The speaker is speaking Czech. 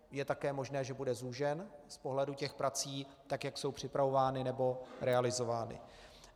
Je také možné, že bude zúžen z pohledu těch prací, tak jak jsou připravovány nebo realizovány.